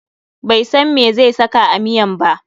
Bai san meh zai saka a miyan ba.